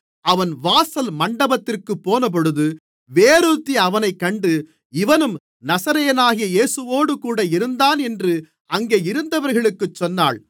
அவன் வாசல் மண்டபத்திற்குப்போனபொழுது வேறொருத்தி அவனைக் கண்டு இவனும் நசரேயனாகிய இயேசுவோடுகூட இருந்தான் என்று அங்கே இருந்தவர்களுக்குச் சொன்னாள்